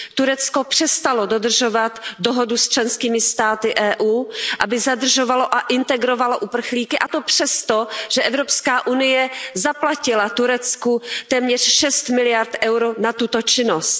Turecko přestalo dodržovat dohodu s členskými státy EU, aby zadržovalo a integrovalo uprchlíky, a to přesto, že Evropská unie zaplatila Turecku téměř šest miliard eur na tuto činnost.